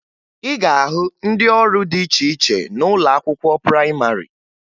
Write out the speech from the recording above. Ị ga-ahụ ndị ọrụ dị iche iche n'ụlọ akwụkwọ prayịmarị